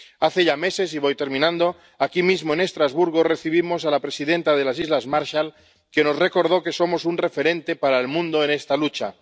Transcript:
Hace ya meses —y voy terminando—, aquí mismo en Estrasburgo, recibimos a la presidenta de las islas Marshall, que nos recordó que somos un referente para el mundo en esta lucha.